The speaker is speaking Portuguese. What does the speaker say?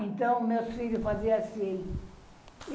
Então, meus filhos faziam assim.